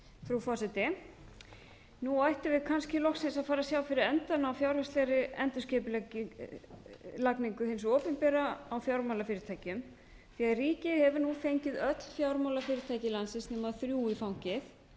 frú forseti nú ættum við kannski loksins að fara að sjá fyrir endann á fjárhagslegri endurskipulagningu hins opinbera á fjármálafyrirtækjum því ríkið hefur nú fengið öll fjármálafyrirtæki landsins nema þrjú í fangið